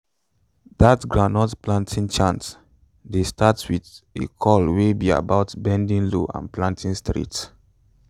dat groundnut planting chant dey start wit a call wey be about bending low and planting straight